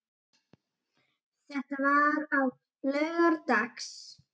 Þetta var á laugardags